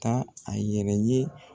Taa a yɛrɛ ye